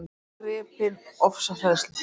Ég varð gripin ofsahræðslu.